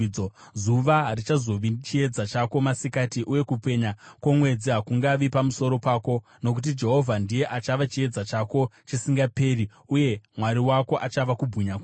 Zuva harichazovi chiedza chako masikati, uye kupenya kwomwedzi hakungavi pamusoro pako, nokuti Jehovha ndiye achava chiedza chako chisingaperi, uye Mwari wako achava kubwinya kwako.